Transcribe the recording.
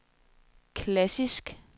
klassisk